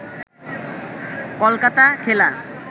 কলকাতা খেলা